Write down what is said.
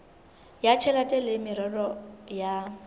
ya tjhelete le meralo ya